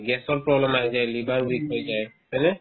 gas ৰ problem আহি হৈ যায় liver weak হৈ যায় হয়নে ?